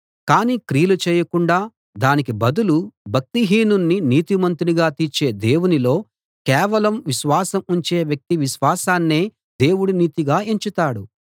కానీ క్రియలు చేయకుండా దానికి బదులు భక్తిహీనుణ్ణి నీతిమంతునిగా తీర్చే దేవునిలో కేవలం విశ్వాసం ఉంచే వ్యక్తి విశ్వాసాన్నే దేవుడు నీతిగా ఎంచుతాడు